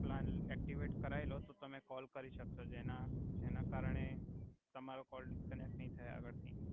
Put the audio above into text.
plan activate કરાઇ લો તો તમે કોલ કરી સક્શો જેના જેના કરણે તમારો કોલ ડિસ્કનેકટ નઈ થાય આગળ